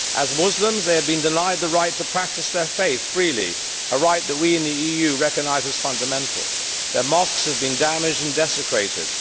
As Muslims, they are being denied the right to practise their faith freely, a right that we in the EU recognise as fundamental, and their mosques have been damaged and desecrated.